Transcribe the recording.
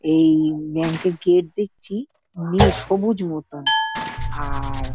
এই ব্যাংক -এর গেট দেখছি নীল সবুজ মতন আর